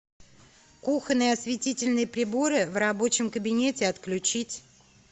кухонные осветительные приборы в рабочем кабинете отключить